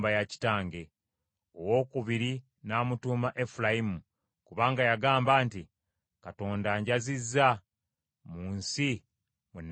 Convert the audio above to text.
Owookubiri n’amutuuma Efulayimu, kubanga yagamba nti, “Katonda anjazizza mu nsi mwe nabonaabonera.”